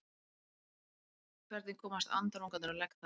Hvernig komast andarungarnir á legg þar?